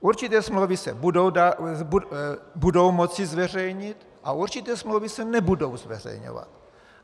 Určité smlouvy se budou moci zveřejnit a určité smlouvy se nebudou zveřejňovat.